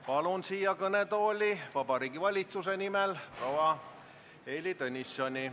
Palun siia kõnetooli Vabariigi Valitsuse nimel proua Heili Tõnissoni.